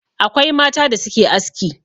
Akwai mata da suke aski.